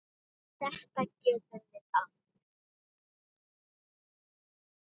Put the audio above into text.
Þetta gerum við oft.